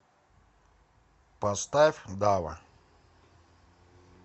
поставь дава